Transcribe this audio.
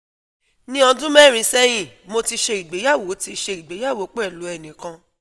Ní ọdún mẹrin sẹyin, mo ti ṣe ìgbéyàwó ti ṣe ìgbéyàwó pẹlu ẹni kan